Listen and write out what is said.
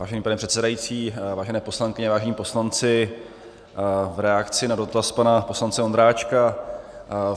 Vážený pane předsedající, vážené poslankyně, vážení poslanci, v reakci na dotaz pana poslance Ondráčka.